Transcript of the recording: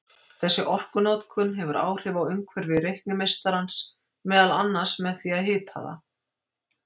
Þessi orkunotkun hefur áhrif á umhverfi reiknimeistarans, meðal annars með því að hita það.